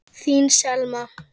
Þín Selma.